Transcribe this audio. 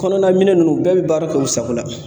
Kɔnɔna minɛn ninnu bɛɛ bɛ baara kɛ u sago la.